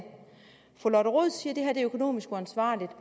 fru lotte rod siger at det økonomisk uansvarligt